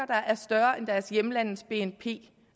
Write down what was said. der er større end deres hjemlandes bnp